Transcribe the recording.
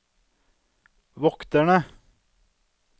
vokterne